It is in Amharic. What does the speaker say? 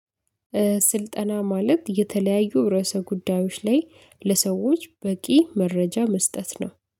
ስልጠና ማለት የተለያዩ ርዕሰ ጉዳዮች ላይ ለሰዎች በቂ መረጃ መስጠት ነው።